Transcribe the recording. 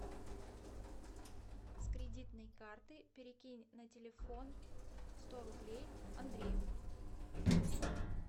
с кредитной карты перекинь на телефон сто рублей андрею